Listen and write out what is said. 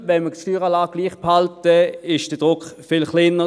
Wenn wir die Steueranlage gleich behalten, ist der Druck viel kleiner.